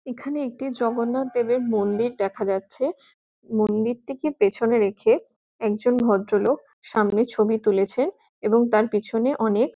এখানে একটি জগন্নাথ দেবের মন্দির দেখা যাচ্ছে মন্দিরটি কে পেছনে রেখে একজন ভদ্রলোক সামনে ছবি তুলেছে এবং তার পিছনে অনেক --